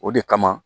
O de kama